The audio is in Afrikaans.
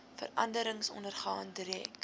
veranderings ondergaan direk